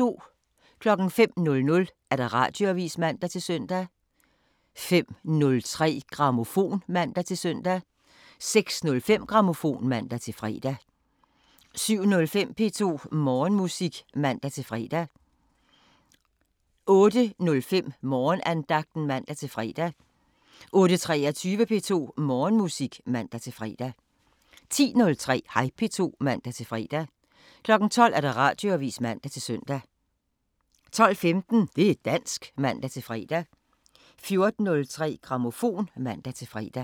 05:00: Radioavisen (man-søn) 05:03: Grammofon (man-søn) 06:05: Grammofon (man-fre) 07:05: P2 Morgenmusik (man-fre) 08:05: Morgenandagten (man-fre) 08:23: P2 Morgenmusik (man-fre) 10:03: Hej P2 (man-fre) 12:00: Radioavisen (man-søn) 12:15: Det' dansk (man-fre) 14:03: Grammofon (man-lør)